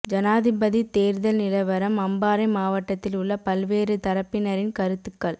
ஜனாதிபதித் தேர்தல் நிலவரம் அம்பாறை மாவட்டத்தில் உள்ள பல்வேறு தரப்பினரின் கருத்துக்கள்